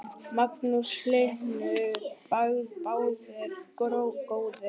Magnús Hlynur: Báðir góðir?